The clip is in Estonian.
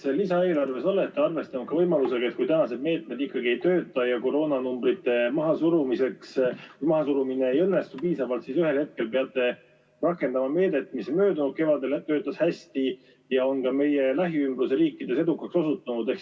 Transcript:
Kas lisaeelarves olete arvestanud ka võimalusega, et kui tänased meetmed ikkagi ei tööta ja koroonanumbrite mahasurumine ei õnnestu piisavalt, siis ühel hetkel peate rakendama meedet, mis möödunud kevadel töötas hästi ja on ka meie lähiriikides edukaks osutunud?